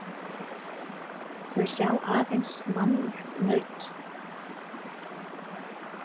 Þau sjá aðeins mannýgt naut.